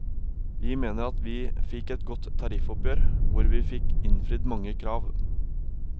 Vi mener at vi fikk et godt tariffoppgjør hvor vi fikk innfridd mange krav.